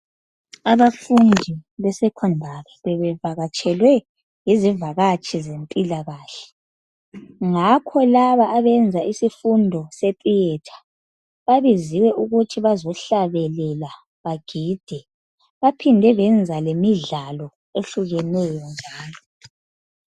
Abafundi besecondary bebevakatshelwe yizivakatshi zempilakahle. Ngakho labo abenza isifundo setheatre babiziwe ukuthi bazohlabelela bagide baphinde benza lemidlalo ehlukeneyo njalo.